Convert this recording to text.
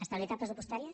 estabilitat pressupostària